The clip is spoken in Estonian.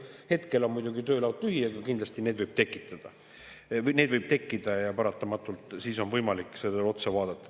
Hetkel on muidugi töölaud tühi, aga kindlasti need võivad tekkida ja siis on võimalik neile otsa vaadata.